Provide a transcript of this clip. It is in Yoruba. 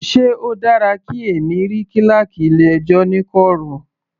Sé o dára kí èmi rí kíláákì ilé ẹjọ́ ní kọ̀rọ̀.